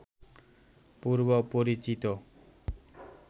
পূর্ব পরিচিত